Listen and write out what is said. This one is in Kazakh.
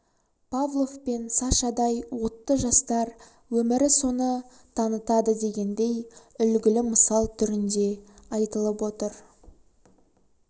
павлов пен сашадай отты жастар өмірі соны танытады дегендей үлгілі мысал түрінде айтылып отыр